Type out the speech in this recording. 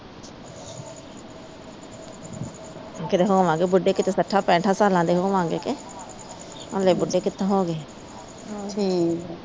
ਕਿਤੇ ਹੋਵਾਂਗੇ ਬੁੱਢੇ ਕਿਤੇ ਸੱਠਾ ਪੇਠਾ ਸਾਲਾਂ ਦੇ ਹੋਵਾਂਗੇ ਕੇ ਹਲੇ ਬੁੱਢੇ ਕਿੱਥੋਂ ਹੋ ਗਏ